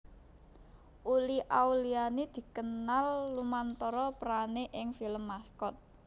Uli Auliani dikenal lumantar perané ing film Maskot